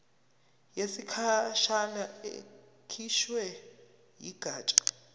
yesikhashana ekhishwe yigatsha